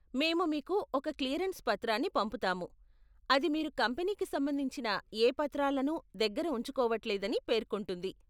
మేము మీకు ఒక క్లియరెన్స్ పత్రాన్ని పంపుతాము, అది మీరు కంపెనీకి సంబంధించిన ఏ పత్రాలను దగ్గర ఉంచుకోవట్లేదని పేర్కొంటుంది.